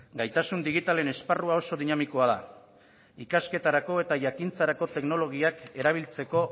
gaitasun digitalen esparrua oso dinamikoa da ikasketarako eta jakintzarako teknologiak erabiltzeko